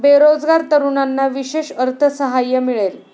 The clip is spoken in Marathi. बेरोजगार तरुणांना विशेष अर्थसहाय्य मिळेल.